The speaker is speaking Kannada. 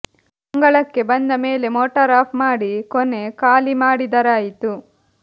ಅಂಗಳಕ್ಕೆ ಬಂದ ಮೇಲೆ ಮೋಟಾರ್ ಆಫ್ ಮಾಡಿ ಕೊನೆ ಖಾಲಿ ಮಾಡಿದರಾಯಿತು